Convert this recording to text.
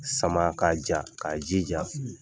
Sama ka ja. K'a jija.